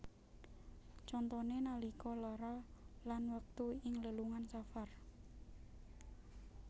Contoné nalika lara lan wektu ing lelungan safar